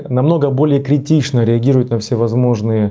намного более критично реагирует на всевозможные